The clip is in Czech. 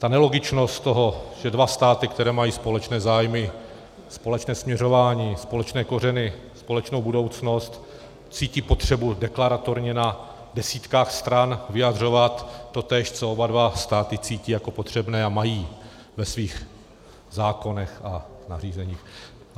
Ta nelogičnost toho, že dva státy, které mají společné zájmy, společné směřování, společné kořeny, společnou budoucnost, cítí potřebu deklaratorně na desítkách stran vyjadřovat totéž, co oba dva státy cítí jako potřebné a mají ve svých zákonech a nařízeních...